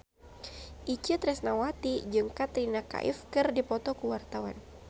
Itje Tresnawati jeung Katrina Kaif keur dipoto ku wartawan